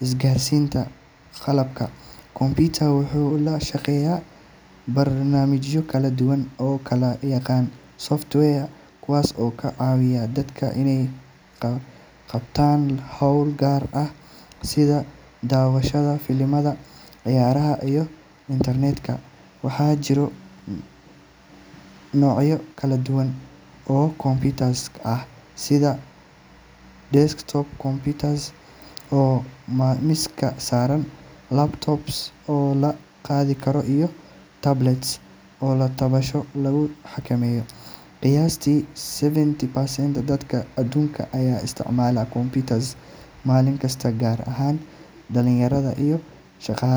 isgaarsiinta. Qalabka computer wuxuu la shaqeeyaa barnaamijyo kala duwan oo loo yaqaan software kuwaas oo ka caawiya dadka inay qabtaan hawlo gaar ah sida daawashada filimada, ciyaaraha, iyo internet-ka. Waxaa jira noocyo kala duwan oo computers ah sida desktop computers oo miiska saaran, laptops oo la qaadi karo, iyo tablets oo taabasho lagu xakameeyo. Qiyaastii seventy percent dadka adduunka ayaa isticmaala computers maalin kasta, gaar ahaan dhalinyarada iyo shaqaalaha.